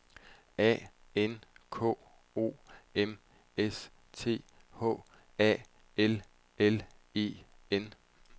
A N K O M S T H A L L E N